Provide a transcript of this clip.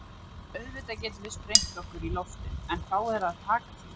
Auðvitað getum við sprengt okkur í loft upp, en þá er að taka því.